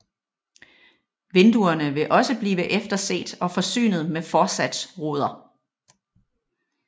Vinduerne vil også blive efterset og forsynet med forsatsruder